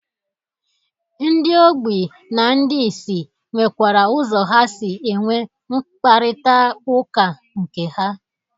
Ndị ogbi na ndị isi nwekwara ụzọ ha si enwe nkparịtaụka nke ha.